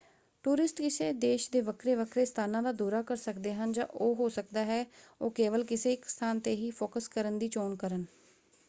Tourist ਕਿਸੇ ਦੇਸ਼ ਦੇ ਵੱਖਰੇ ਵੱਖਰੇ ਸਥਾਨਾਂ ਦਾ ਦੌਰਾ ਕਰ ਸਕਦੇ ਹਨ ਜਾਂ ਉਹ ਹੋ ਸਕਦਾ ਹੈ ਉਹ ਕੇਵਲ ਕਿਸੇ ਇੱਕ ਸਥਾਨ ‘ਤੇ ਹੀ ਫੋਕਸ ਕਰਨ ਦੀ ਚੋਣ ਕਰਨ।